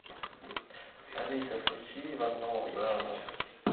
алиса включи ивановы ивановы